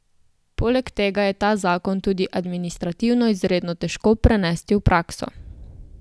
Poleg tega je ta zakon tudi administrativno izredno težko prenesti v prakso.